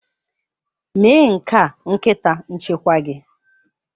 Mee nke a nkịta nchekwa gị!